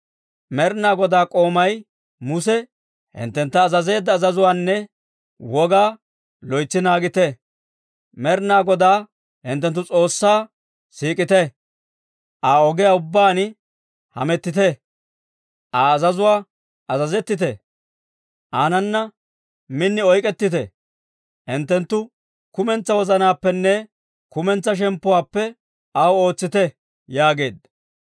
Med'ina Goday k'oomay Muse hinttentta azazeedda azazuwaanne Wogaa loytsi naagite. Med'ina Godaa hinttenttu S'oossaa siik'ite; Aa ogiyaa ubbaan hamettite; Aa azazuwaa azazettite; aanana min oyk'k'ettite; hinttenttu kumentsaa wozanaappenne kumentsaa shemppuwaappe aw ootsite» yaageedda.